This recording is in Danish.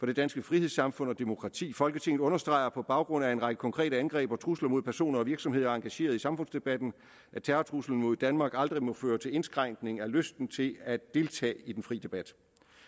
det danske frihedssamfund og demokrati folketinget understreger på baggrund af en række konkrete angreb og trusler mod personer og virksomheder engageret i samfundsdebatten at terrortruslen mod danmark aldrig må føre til indskrænkning af lysten til at deltage i den frie debat